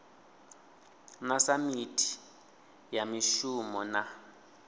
na samithi ya mishumo na